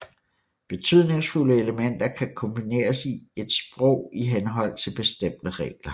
Betydningsfulde elementer kan kombineres i et sprog i henhold til bestemte regler